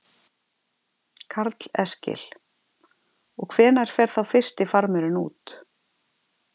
Karl Eskil: Og hvenær fer þá fyrsti farmurinn út?